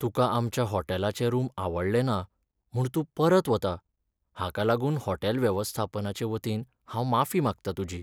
तुका आमच्या हॉटेलाचें रूम आवडले ना म्हूण तूं परत वता, हाका लागून हॉटेल वेवस्थापनाचे वतीन हांव माफी मागता तुजी.